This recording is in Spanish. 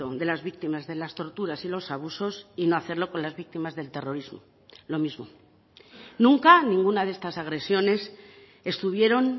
de las víctimas de las torturas y los abusos y no hacerlo con las víctimas del terrorismo lo mismo nunca ninguna de estas agresiones estuvieron